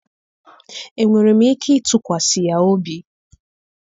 Enwere m ike ịtụkwasị ya obi?